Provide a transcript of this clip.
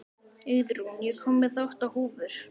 Auðrún, ég kom með átta húfur!